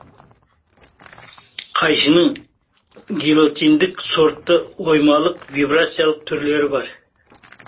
қайшының гильотиндік сортты оймалық вибрациялық түрлері бар